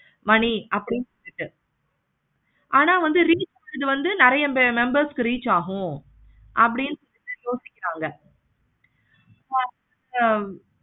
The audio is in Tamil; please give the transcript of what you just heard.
money அப்படின்னு ஆனா வந்து ஆனா reasons வந்து நெறைய members க்கு reach ஆகும். அப்படின்னு யோசிக்கிறாங்க. ஆஹ்